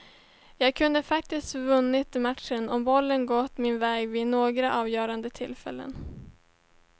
Jag kunde faktiskt vunnit matchen om bollen gått min väg vid några avgörande tillfällen.